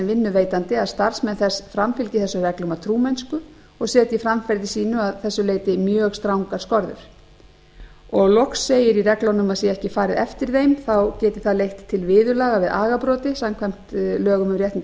vinnuveitandi að starfsmenn þess framfylgi þessum reglum af trúmennsku og setji framferði sínu að þessu leyti mjög strangar skorður loks segir í reglunum að sé ekki farið eftir þeim geti það leitt til viðurlaga við agabroti samkvæmt lögum um réttindi